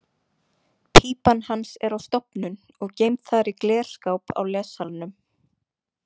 Pípan hans er á stofnun og geymd þar í glerskáp á lessalnum.